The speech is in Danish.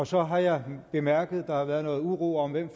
så har jeg bemærket at der har været noget uro om hvem